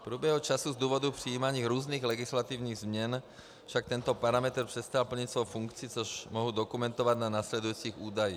V průběhu času z důvodu přijímání různých legislativních změn však tento parametr přestal plnit svou funkci, což mohu dokumentovat na následujících údajích.